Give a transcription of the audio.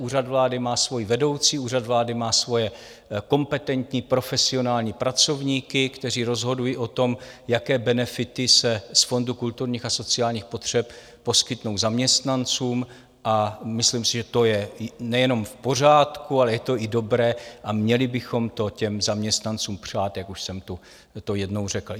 Úřad vlády má svoji vedoucí, Úřad vlády má svoje kompetentní profesionální pracovníky, kteří rozhodují o tom, jaké benefity se z Fondu kulturních a sociálních potřeb poskytnou zaměstnancům, a myslím si, že to je nejenom v pořádku, ale je to i dobré a měli bychom to těm zaměstnancům přát, jak už jsem to jednou řekl.